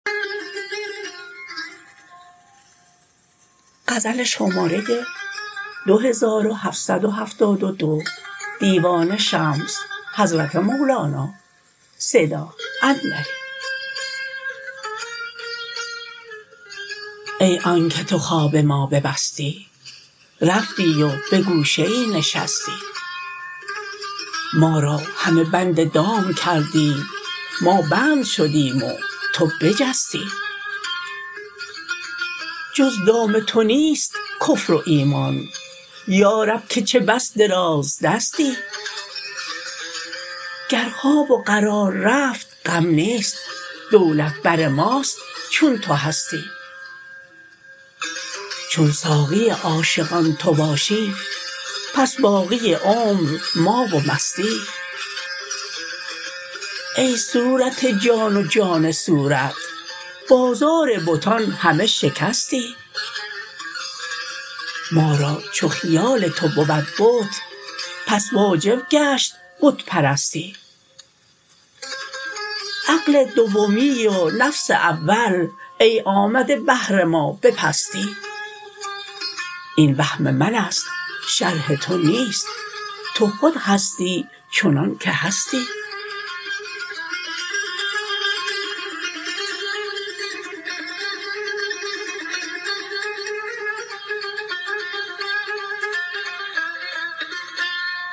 ای آنک تو خواب ما ببستی رفتی و به گوشه ای نشستی ما را همه بند دام کردی ما بند شدیم و تو بجستی جز دام تو نیست کفر و ایمان یا رب که چه بس درازدستی گر خواب و قرار رفت غم نیست دولت بر ماست چون تو هستی چون ساقی عاشقان تو باشی پس باقی عمر ما و مستی ای صورت جان و جان صورت بازار بتان همه شکستی ما را چو خیال تو بود بت پس واجب گشت بت پرستی عقل دومی و نفس اول ای آمده بهر ما به پستی این وهم من است شرح تو نیست تو خود هستی چنانک هستی